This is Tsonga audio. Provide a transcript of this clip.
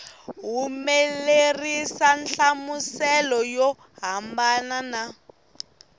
humelerisa nhlamuselo yo hambana na